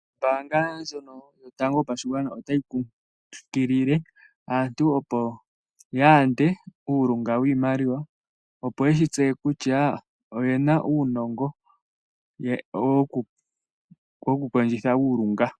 Ombanga ndjono yotango yopashigwana otayi kunkilile aantu opo ya yande uulunga wiimaliwa opo yeshi tseye kutya oyena uunongo mokukondjitha uulunga.